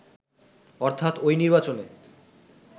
অর্থাৎ ওই নির্বাচনে